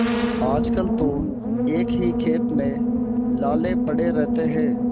आजकल तो एक ही खेप में लाले पड़े रहते हैं